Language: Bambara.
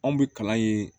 Anw bɛ kalan yen